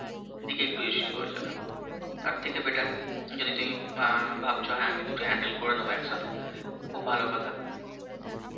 দিকেই একটু issue হয়ে যাবে, তার থেকে better যদি তুমি অ্যাঁ ভাবছো হ্যাঁ আমি দুটি handle করে নেবো এক সথে, খুব ভালো কথা